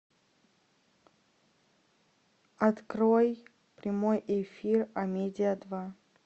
открой прямой эфир амедиа два